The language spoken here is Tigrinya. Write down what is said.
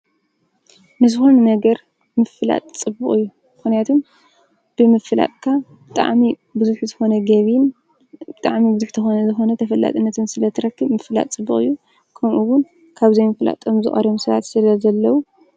ንዝኾነ ነገር ምፍላጥ ፅቡቕ እዩ ምክንያቱ ብምፍላጥካ ብጣዕሚ ብዙሕ ዝኾነ ገቢን ብጣዕሚ ብዙሕ ዝኮነ ተፈላጥነትን ስለትረክብ ምፍላጥ ፅቡቕ እዩ። ከምዙ እውን ካብ ዘይመፍላጦም ሰባት ዝቀርዮም ስለዘለው።